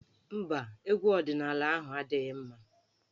Mba, egwu ọdịnaala ahụ adịghị mma.